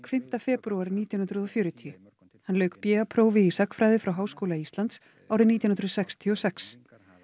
fimmta febrúar nítján hundruð og fjörutíu hann lauk b a prófi í sagnfræði frá Háskóla Íslands árið nítján hundruð sextíu og sex